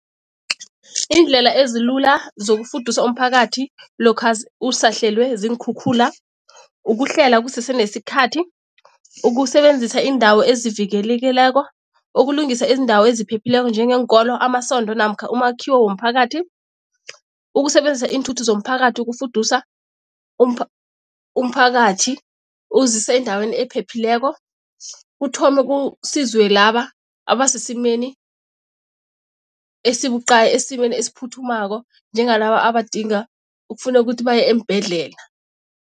Iindlela ezilula zokufudusa umphakathi lokha usahlelwe ziinkhukhula, ukuhlela kusese nesikhathi, ukusebenzisa iindawo ezivikelekileko, ukulungisa iindawo eziphephileko njengeenkolo, amasondo namkha umakhiwo womphakathi, ukusebenzisa iinthuthi zomphakathi ukufudusa umphakathi ukuzisa endaweni ephephileko, kuthome kusizwe laba asesimeni esibuqayi, esimeni esiphuthumako, njengalaba abadinga ukufuneka ukuthi baye eembhedlela.